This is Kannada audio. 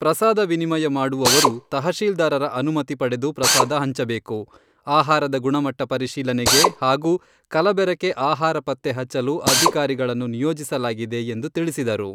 ಪ್ರಸಾದ ವಿನಿಮಯ ಮಾಡುವವರು ತಹಶೀಲ್ದಾರರ ಅನುಮತಿ ಪಡೆದು ಪ್ರಸಾದ ಹಂಚಬೇಕು , ಆಹಾರದ ಗುಣಮಟ್ಟ ಪರಿಶೀಲನೆಗೆ ಹಾಗೂ ಕಲಬೆರಕೆ ಆಹಾರ ಪತ್ತೆ ಹಚ್ಚಲು ಅಧಿಕಾರಿಗಳನ್ನು ನಿಯೋಜಿಸಲಾಗಿದೆ ಎಂದು ತಿಳಿಸಿದರು.